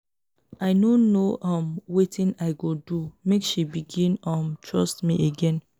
i no know um wetin i go do make she begin um trust me again.